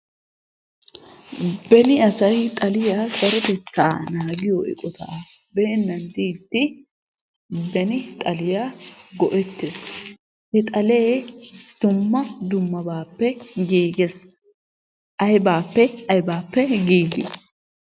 Beni asay xaliya sarotetta naagiyo eqqota beenan diidi, beni xaliyaa go"ettees. He xalee dumma dummabappe giiggees. Aybbappe aybbappe giigi?